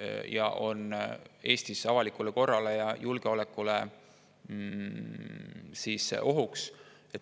ning on Eesti avalikule korrale ja julgeolekule ohuks.